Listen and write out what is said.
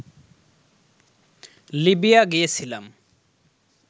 Libya গিয়েছিলাম